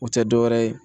O tɛ dɔwɛrɛ ye